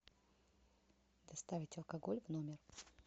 доставить алкоголь в номер